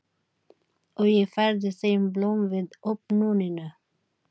Og ég færði þeim blóm við opnunina.